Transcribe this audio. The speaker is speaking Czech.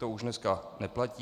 To už dnes neplatí.